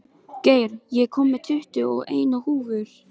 Geir, ég kom með tuttugu og eina húfur!